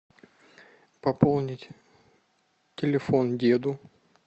пополнить телефон деду